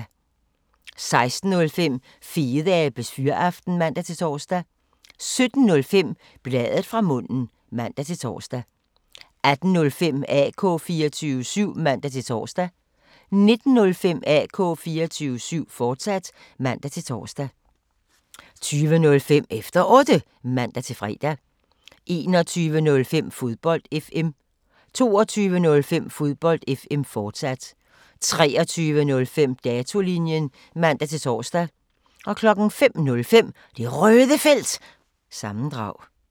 16:05: Fedeabes Fyraften (man-tor) 17:05: Bladet fra munden (man-tor) 18:05: AK 24syv (man-tor) 19:05: AK 24syv, fortsat (man-tor) 20:05: Efter Otte (man-fre) 21:05: Fodbold FM 22:05: Fodbold FM, fortsat 23:05: Datolinjen (man-tor) 05:05: Det Røde Felt – sammendrag